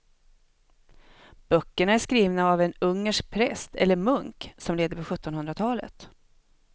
Böckerna är skrivna av en ungersk präst eller munk som levde på sjuttonhundratalet.